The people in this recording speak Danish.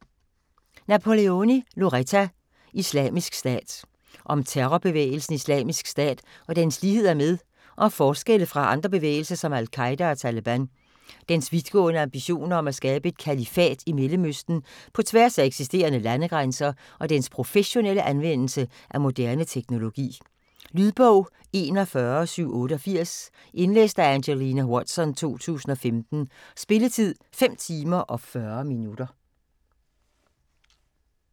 Napoleoni, Loretta: Islamisk Stat Om terrorbevægelsen Islamisk Stat og dens ligheder med og forskelle fra andre bevægelser som Al-Qaeda og Taleban, dens vidtgående ambitioner om at skabe et kalifat i Mellemøsten på tværs af eksisterende landegrænser, og dens professionelle anvendelse af moderne teknologi. Lydbog 41788 Indlæst af Angelina Watson, 2015. Spilletid: 5 timer, 40 minutter.